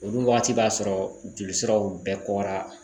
Olu wagati b'a sɔrɔ jolisiraw bɛɛ kɔwara